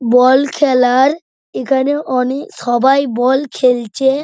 বল খেলার এখানে অনেক সবাই বল খেলছে।